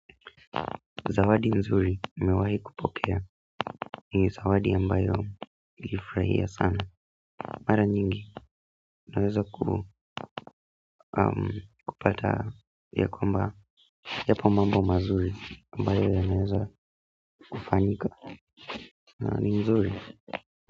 Zawadi nzuri nimewahi kupokea ni zawadi ambayo niliifurahia sana mara nyingi naweza kupata ya kwamba yapo mambo mazuri ambayo yanaweza kufanyika ni nzuri.